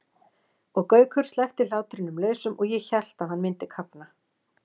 og Gaukur sleppti hlátrinum lausum og ég hélt að hann myndi kafna.